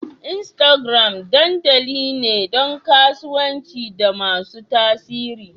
Instagram dandali ne don kasuwanci da masu tasiri.